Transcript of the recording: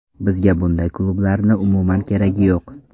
Bizga bunday klublarni umuman keragi yo‘q.